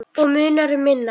Og munar um minna.